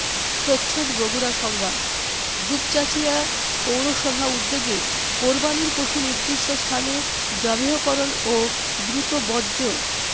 প্রচ্ছদ বগুড়া সংবাদ দুপচাচিঁয়া দুপচাঁচিয়া পৌরসভা উদ্যোগে কোরবানীর পশু নির্দিষ্ট স্থানে জবেহকরণ ও দ্রুত বর্জ্য